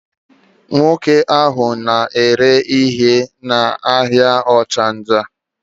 Nwoke ahụ na-ere ihe n'ahịa Ọchanja.